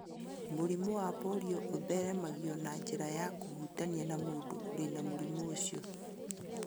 Mũrimũ wa polio ũtheremagio na njĩra ya kũhutania na mũndũ ũrĩ na mũrimũ ũcio.